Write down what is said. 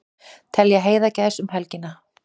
Telja heiðagæs um helgina